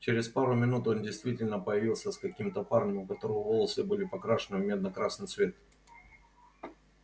через пару минут он действительно появился с каким-то парнем у которого волосы были покрашены в медно-красный цвет